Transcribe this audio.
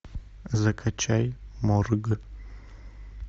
закачай морг